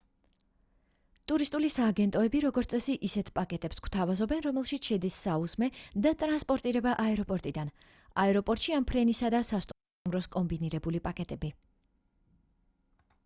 ტურისტული სააგენტოები როგორც წესი ისეთ პაკეტებს გვთავაზობენ რომელშიც შედის საუზმე და ტრანსპორტირება აეროპორტიდან/აეროპორტში ან ფრენისა და სასტუმროს კომბინირებული პაკეტები